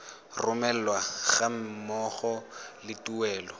romelwa ga mmogo le tuelo